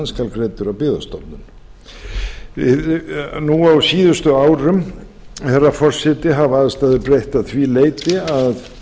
skal greiddur af byggðastofnun nú á síðustu árum herra forseti hafa aðstæður breyst að því leyti að